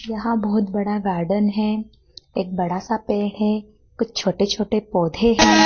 यहां बहुत बड़ा गार्डन है। एक बड़ा सा पेड़ है। कुछ छोटे-छोटे पौधे हैं।